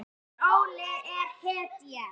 Heimir: Óli er hetja?